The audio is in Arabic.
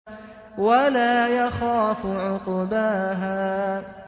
وَلَا يَخَافُ عُقْبَاهَا